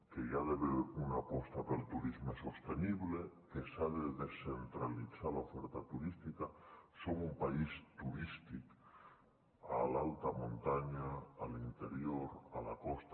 que hi ha d’haver una aposta pel turisme sostenible que s’ha de descentralitzar l’oferta turística som un país turístic a l’alta muntanya a l’interior a la costa